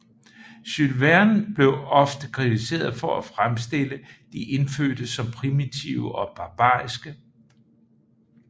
Jules Verne bliver ofte kritiseret for at fremstille de indfødte som primitive og barbariske